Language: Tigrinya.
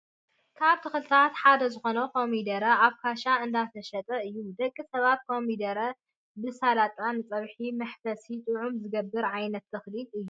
ካብ ተክልታት ሓደ ዝኮነ ኮሚደረ ኣብ ካሳ እንዳተሸጠ እዩ። ደቂ ሰባት ኮሚደረ ብሳላጣን ንፀብሒ መሕፈስን ጥዑምን ዝገብር ዓይነት ተክሊ እዩ።